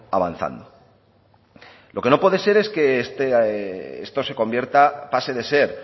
avanzando lo que no puede ser es que esto se convierta pase de ser